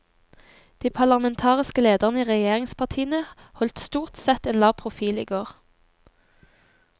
De parlamentariske lederne i regjeringspartiene holdt stort sett en lav profil i går.